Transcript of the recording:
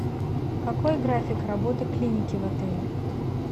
какой график работы клиники в отеле